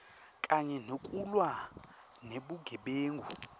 kanye nekulwa nebugebengu